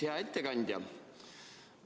Hea ettekandja!